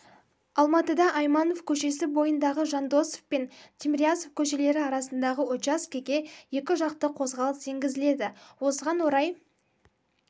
алматыда айманов көшесі бойындағы жандосов пен тимирязев көшелері арасындағы учаскеге екі жақты қозғалыс енгізіледі осыған орай